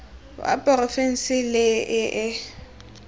wa porofense le e e